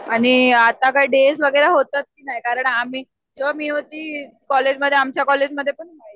आणि आता काय डेज वगैरे होतात की नाही कारण आम्ही जेंव्हा मी होती कॉलेजमध्ये आमच्या कॉलेजमध्ये पण